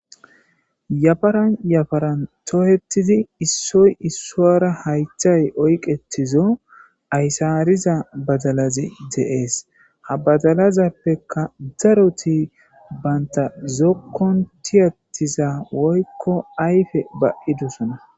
yafaran yafaran toohettidi issoy issoara haythay oyqetizo aysaariza badalazi deees ha badalazappekka daroti baynta zokkon tiyattiza woykko ayfe ba7idusona